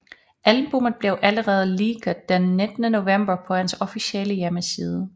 Albummet blev alleredet leaked den 19 November på hans officiale hjemmeside